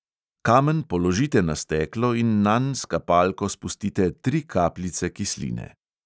Kamen položite na steklo in nanj s kapalko spustite tri kapljice kisline.